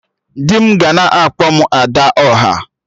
Di m ga na-akpọ m 'Ada ọha'